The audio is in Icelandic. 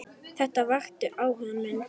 Þetta vakti áhuga minn.